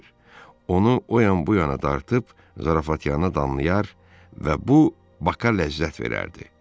Onu o yan-bu yana dartıb zarafatyana damlayar və bu Baka ləzzət verərdi.